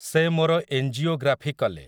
ସେ ମୋର ଏଞ୍ଜିୟୋଗ୍ରାଫି କଲେ ।